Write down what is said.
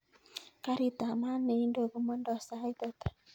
Karit ab maat neindo komondo sait ata